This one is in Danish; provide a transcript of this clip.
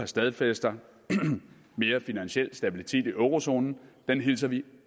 stadfæster mere finansiel stabilitet i eurozonen hilser vi